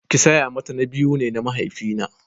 Kisiya mata na biyu ne na mahaifi na.